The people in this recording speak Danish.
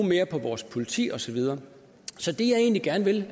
mere på vores politi og så videre så det jeg egentlig gerne vil